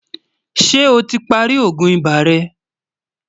ṣé ọ tí pá rí ògún ibà rè?